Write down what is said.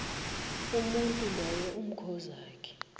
umuntu loyo amkhozakhe